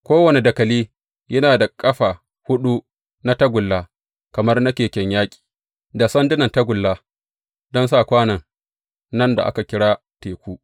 Kowane dakali yana da ƙafa huɗu na tagulla kamar na keken yaƙi, da sandunan tagulla don sa kwanon nan da aka kira Teku.